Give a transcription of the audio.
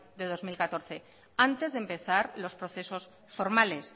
del dos mil catorce antes de empezar los procesos formales